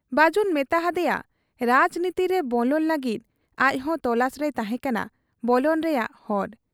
ᱵᱟᱹᱡᱩᱱᱮ ᱢᱮᱛᱟ ᱦᱟᱫᱮᱭᱟ ᱨᱟᱡᱽᱱᱤᱛᱤᱨᱮ ᱵᱚᱞᱚᱱ ᱞᱟᱹᱜᱤᱫ ᱟᱡᱫᱚ ᱛᱚᱞᱟᱥ ᱨᱮᱭ ᱛᱟᱦᱮᱸ ᱠᱟᱱᱟ ᱵᱚᱞᱚᱱ ᱨᱮᱭᱟᱜ ᱦᱚᱨ ᱾